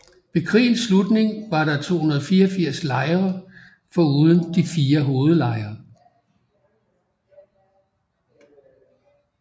Ved krigens slutning var der 284 lejre foruden de fire hovedlejre